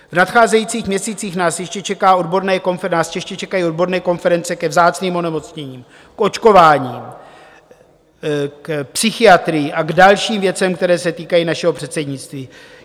V nadcházejících měsících nás ještě čekají odborné konference ke vzácným onemocněním, k očkováním, k psychiatrii a k dalším věcem, které se týkají našeho předsednictví.